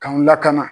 K'anw lakana